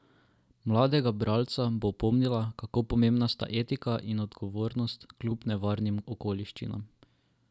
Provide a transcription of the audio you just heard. Mladega bralca bo opomnila, kako pomembna sta etika in odgovornost kljub nevarnim okoliščinam.